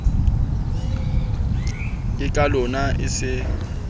ke ka lona e se